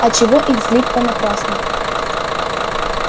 а чего их злить понапрасну